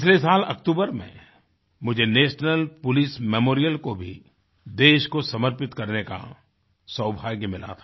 पिछले साल अक्टूबर में मुझे नेशनल पोलिस मेमोरियल को भी देश को समर्पित करने का सौभाग्य मिला था